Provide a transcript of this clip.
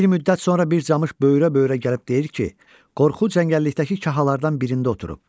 Bir müddət sonra bir camış böyrə-böyrə gəlib deyir ki, qorxu cəngəllikdəki kahalardan birində oturub.